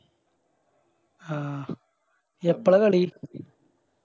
ആഹ് എപ്പളാ കളി